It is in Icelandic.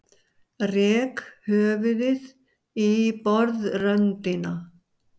Rek höfuðið í borðröndina.